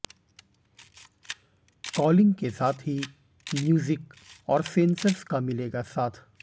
calling के साथ ही म्यूजिक और सेंसर्स का मिलेगा साथ